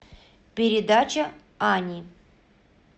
передача ани